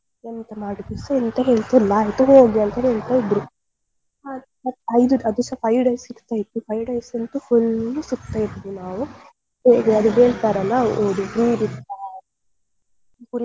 ಎಂತ ಮಾಡಿದ್ರುಸ ಎಂತ ಹೇಳ್ತಿರ್ಲಿಲ್ಲ ಆಯ್ತು ಹೋಗಿ ಅಂತ ಹೇಳ್ತಾ ಇದ್ರು. ಅದುಸ five days ಇರ್ತಾ ಇತ್ತು . five days ಅಂತೂ full ಸುತ್ತುತ್ತಾ ಇದ್ವಿ ನಾವು ಹೇಗೆ ಅದು ಹೇಳ್ತಾರೇ ಅಲ್ವಾ ಒಂದು free ಬಿಟ್ಟ ಕುರಿಗಳ ಹಾಗೆ